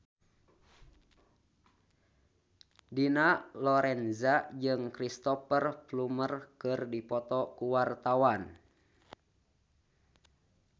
Dina Lorenza jeung Cristhoper Plumer keur dipoto ku wartawan